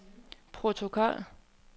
protokol